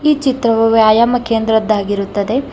. ಈ ಚಿತ್ರವು ವ್ಯಾಯಾಮ ಕೇಂದ್ರದ್ದಾಗಿರುತ್ತದೆ